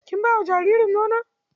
Kin ba wa jaririn nono?